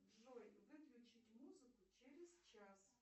джой выключить музыку через час